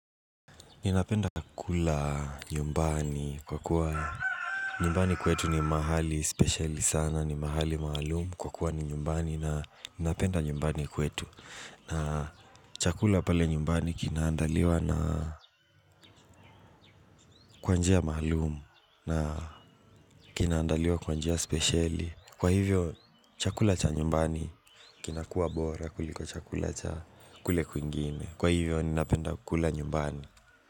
Ninapenda kula nyumbani kwa kuwa nyumbani kwetu ni mahali spesheli sana, ni mahali maalum, kwa kuwa ni nyumbani na napenda nyumbani kwetu. Na chakula pale nyumbani kinaandaliwa na kwa njia maalum, na kinaandaliwa kwa njia spesheli. Kwa hivyo, chakula cha nyumbani kinakuwa bora kuliko chakula cha kule kwingine. Kwa hivyo, ninapenda kula nyumbani.